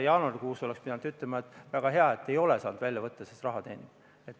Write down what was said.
Jaanuarikuus oleks pidanud ütlema, et väga hea, et ei ole saanud välja võtta, siis raha teenis.